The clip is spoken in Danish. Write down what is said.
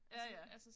Ja ja